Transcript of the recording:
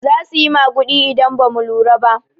Zasu yi maguɗi idan bamu lura ba.